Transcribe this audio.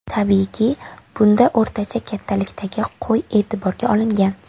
Tabiiyki, bunda o‘rtacha kattalikdagi qo‘y e’tiborga olingan.